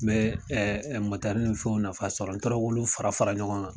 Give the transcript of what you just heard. N mɛ ni fɛnw fana sɔrɔ n tora k'olu fara fara ɲɔgɔn gan